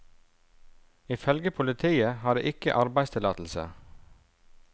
Ifølge politiet har de ikke arbeidstillatelse.